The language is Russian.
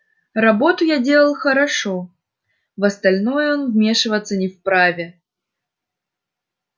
работу я делал хорошо в остальное он вмешиваться не вправе